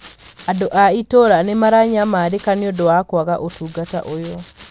Andũ a itũũra nĩ maranyamarĩka nĩ ũndũ wa kwaga ũtungata ũyũ